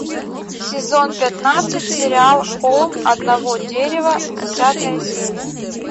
сезон пятнадцать сериал холм одного дерева десятая серия